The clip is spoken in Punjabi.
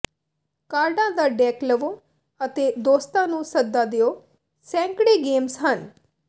ਕਾਰਡਾਂ ਦਾ ਡੇਕ ਲਵੋ ਅਤੇ ਦੋਸਤਾਂ ਨੂੰ ਸੱਦਾ ਦਿਓ ਸੈਂਕੜੇ ਗੇਮਜ਼ ਹਨ